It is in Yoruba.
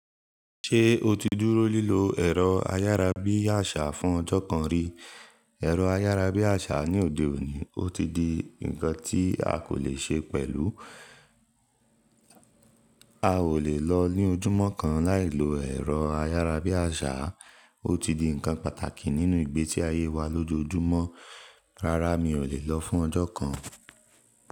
Ṣé o ti dúró lílo ẹ̀rọ ayárabíàṣá fún ọjọ́ kan rí? Ẹ̀rọ ayárabíàṣá ní òde òní, ó ti di nǹkan tí a kò lè ṣe pẹ̀lú. A ò lè lọ ní ojúmọ́ kan láìlo ẹ̀rọ ayárabíàṣá. Ó ti di nǹkan pàtàkì nínú ìgbésí ayé wa lójoojúmọ́. Rárá, mi ò lè lọ fún ọjọ́ kan.